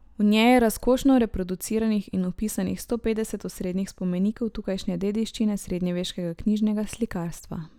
V njej je razkošno reproduciranih in opisanih sto petdeset osrednjih spomenikov tukajšnje dediščine srednjeveškega knjižnega slikarstva.